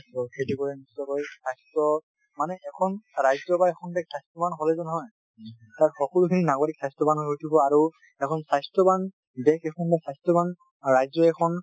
সেইটো কাৰনে নিশ্চয় কৈ স্বাস্থ্য মানে এখন ৰাজ্য বা এখন দেশ স্বাস্থ্যবান হলেইটো নহয় । তাৰ সকলোখিনি নাগৰিক স্বাস্থ্যবান হৈ উঠিব আৰু এখন স্বাস্থ্যবান দেশ এখন বা স্বাস্থ্যবান ৰাজ্য এখন,